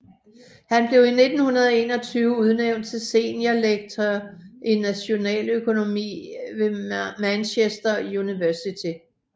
Han blev i 1921 udnævnt til Senior lecturer i Nationaløkonomi ved Manchester University